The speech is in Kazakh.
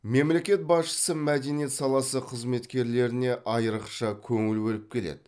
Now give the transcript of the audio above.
мемлекет басшысы мәдениет саласы қызметкерлеріне аиырықша көңіл бөліп келеді